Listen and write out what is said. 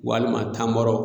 Walima tamaro